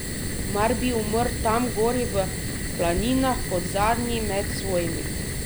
Mar bi umrl tam gori v planinah kot zadnji med svojimi.